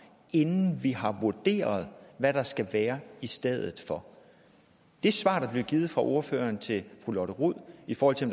inden vi har vurderet hvad der skal være i stedet for det svar der blev givet fra ordføreren til fru lotte rod i forhold til